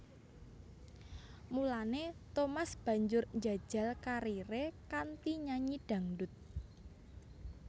Mulané Thomas banjur njajal kariré kanthi nyanyi dhangdut